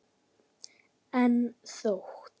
Enda þótt